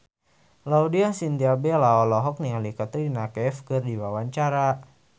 Laudya Chintya Bella olohok ningali Katrina Kaif keur diwawancara